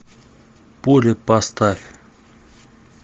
поле поставь